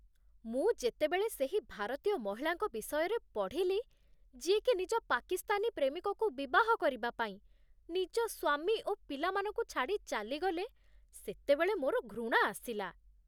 ମୁଁ ଯେତେବେଳେ ସେହି ଭାରତୀୟ ମହିଳାଙ୍କ ବିଷୟରେ ପଢ଼ିଲି, ଯିଏକି ନିଜ ପାକିସ୍ତାନୀ ପ୍ରେମିକକୁ ବିବାହ କରିବା ପାଇଁ ନିଜ ସ୍ୱାମୀ ଓ ପିଲାମାନଙ୍କୁ ଛାଡ଼ି ଚାଲିଗଲେ, ସେତେବେଳେ ମୋର ଘୃଣା ଆସିଲା।